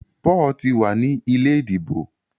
Paul tí wá ní ilé ìdìbò.